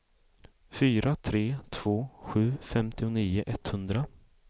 fyra tre två sju femtionio etthundra